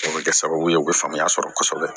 O bɛ kɛ sababu ye u bɛ faamuya sɔrɔ kosɛbɛ